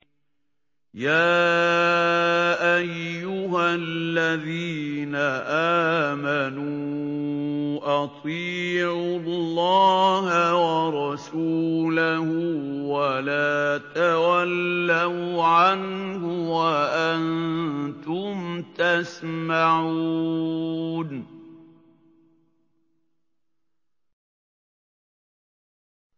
يَا أَيُّهَا الَّذِينَ آمَنُوا أَطِيعُوا اللَّهَ وَرَسُولَهُ وَلَا تَوَلَّوْا عَنْهُ وَأَنتُمْ تَسْمَعُونَ